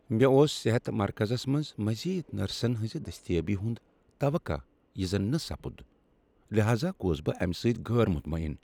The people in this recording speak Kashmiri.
مےٚ اوس صحت مرکزس منٛز مزید نرسن ہنٛزِ دستیٲبی ہُند توقع یہِ زن نہٕ سپُد ، لہازا گوس بہٕ امہِ سٕتۍ غٲر مطمعن۔